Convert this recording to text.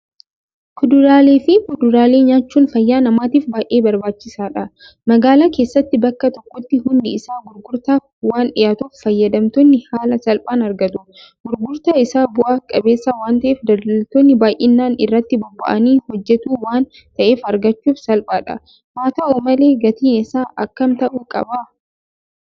Kuduraaleefi Fuduraalee nyaachuun fayyaa namaatiif baay'ee barbaachisaadha. Magaalaa keessatti bakka tokkotti hundi isaa gurgurtaaf waandhiyaatuuf fayyadamtoonni haala salphaan argatu. Gurgurtaan isaa bu'aa qabeessaa waanta'eef daldaltoonni baay'inaan irratti bobba'anii hojjetu waan ta'eef argachuuf salphaadha. Haata'u malee gatiin isaa akkam ta'uu qaba?